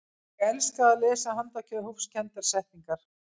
ég elska að lesa handahófskendar settningar